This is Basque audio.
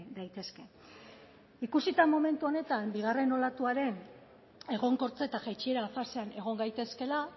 daitezke ikusita momentu honetan bigarren olatuaren egonkortze eta jaitsiera fasean egon gaitezkeela